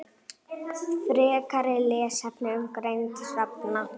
Frekari lesefni um greind hrafna